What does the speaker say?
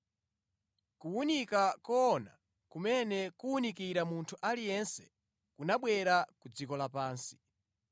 Kuwunika koona kumene kuwunikira munthu aliyense kunabwera ku dziko lapansi.